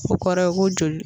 O kɔrɔ ye ko joli